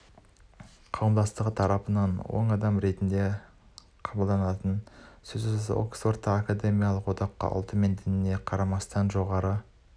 қауымдастығы тарапынан оң қадам ретінде қабылданатыны сөзсіз оксфордтағы академиялық одаққа ұлты мен дініне қарамастан жоғары